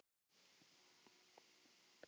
Og drengurinn minn.